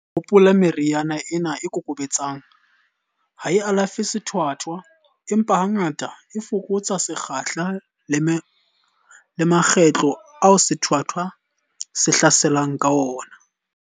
Hopola, meriana ena e kokobetsang ha e alafe sethwathwa, empa hangata, e fokotsa sekgahla le makgetlo ao sethwathwa se hlaselang ka ona.